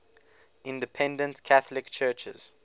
independent catholic churches